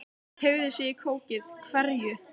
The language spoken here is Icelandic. Hann teygði sig í kókið: Hverju?